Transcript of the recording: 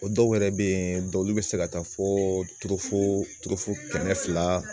O dɔw yɛrɛ bɛ yen dɔw bɛ se ka taa fo kɛmɛ fila